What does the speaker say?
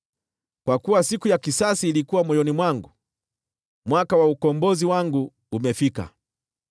Kwa kuwa siku ya kisasi ilikuwa moyoni mwangu, mwaka wa ukombozi wangu umefika.